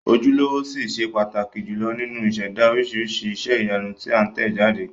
Ojúlówó ṣì ṣe pàtàkì jùlọ nínú ìṣẹ̀dá oríṣiríṣi iṣẹ́ ìyanu tí a tẹ̀ jáde.